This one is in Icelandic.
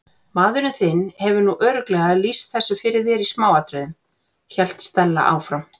Maðurinn þinn hefur nú örugglega lýst þessu fyrir þér í smáatriðum- hélt Stella áfram.